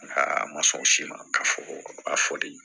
Aa a ma sɔn o si ma ka fɔ a fɔli